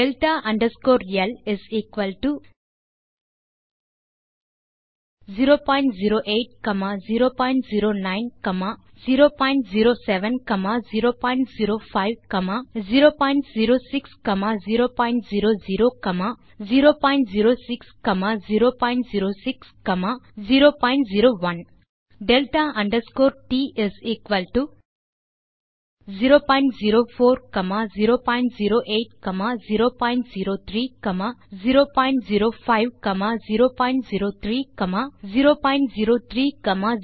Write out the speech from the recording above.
delta underscore L within square bracket 008009007005006000006006001 delta underscore T 004008003005003003004007008 இப்போது error function ஐ பயன்படுத்தலாம்